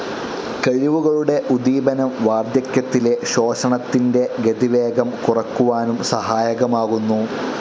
കഴിവുകളുടെ ഉദീപനം വാർദ്ധക്യത്തിലെ ശോഷണത്തിൻ്റെ ഗതിവേഗം കുറയ്ക്കുവാനും സഹായകമാകുന്നു.